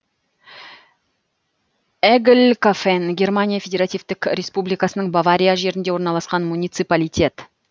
эглькофен германия федеративтік республикасының бавария жерінде орналасқан муниципалитет